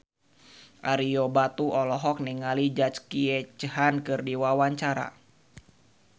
Ario Batu olohok ningali Jackie Chan keur diwawancara